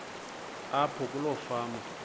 apho kuloo fama